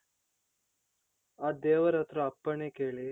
ಆ ದೇವರತ್ರ ಅಪ್ಪಣೆ ಕೇಳಿ.